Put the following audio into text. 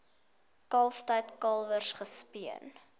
kalftyd kalwers gespeen